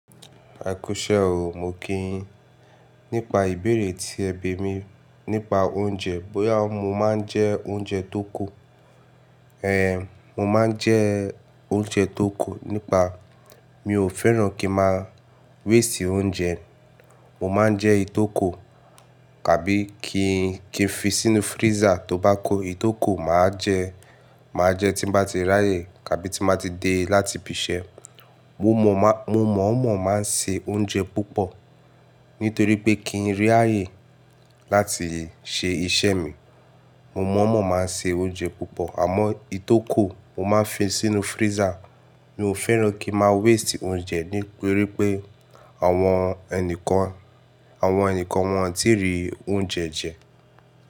Ekúṣẹ́ o, mo kí yin. Nípa ìbéèrè tí ẹ bí mi nípa oúnjẹ bóyá mo máa ń jẹ oúnjẹ tó kù. Ehn, mo máa ń jẹ oúnjẹ tó kù nípa mi ò fẹ́ràn kí máa waste oúnjẹ. Mo máa ń jẹ ìtókò tàbí kí ń fi sínú freezer tó bá ko ìtókò máa jẹ, máa jẹ tí bá ti ráyè tàbí tí bá ti dé láti ibi iṣẹ́. Mo mọ̀ọ́mọ̀ máa ń se oúnjẹ púpọ̀ nítorí pé kí ń rí ààyè láti ṣe iṣẹ́ mi. Mo mọ̀ọ́mọ̀ máa ń se oúnjẹ púpọ̀ àmọ́ ìtókò mo máa ń fi sínú freezer. Mi ò fẹ́ràn kí a máa waste oúnjẹ nítorí pé àwọn ẹnìkan, àwọn ẹnìkan wọn ò tí ì rí oúnjẹ jẹ.